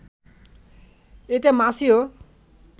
এতে মাছি ও